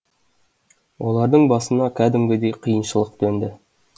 олардың басына кәдімгідей қиыншылық төнді